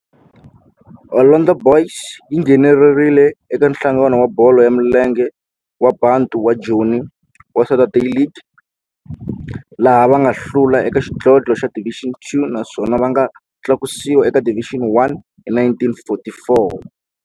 Orlando Boys yi nghenelerile eka Nhlangano wa Bolo ya Milenge wa Bantu wa Joni wa Saturday League, laha va nga hlula eka xidlodlo xa Division Two naswona va nga tlakusiwa eka Division One hi 1944.